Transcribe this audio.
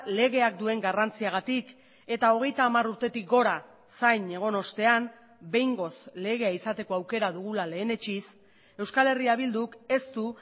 legeak duen garrantziagatik eta hogeita hamar urtetik gora zain egon ostean behingoz legea izateko aukera dugula lehenetsiz euskal herria bilduk ez du